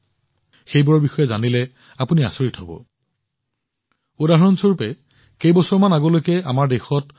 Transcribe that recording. যেতিয়া আপুনি সেইবোৰৰ জানিব আপুনি আচৰিত নহৈ নোৱাৰিব উদাহৰণ স্বৰূপে মহাকাশ ষ্টাৰ্টআপৰ সংখ্যা আৰু গতিৰ কথাকেই ধৰি লওক